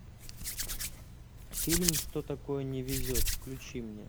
фильм что такое не везет включи мне